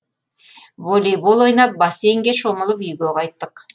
волейбол ойнап бассейнге шомылып үйге қайттық